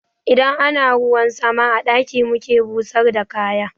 Idan ana ruwan sama a ɗaki muke busar da kaya